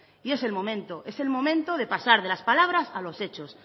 y es el momento es el momento de pasar de las palabras a los hechos